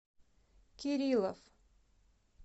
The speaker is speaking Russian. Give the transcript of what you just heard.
кириллов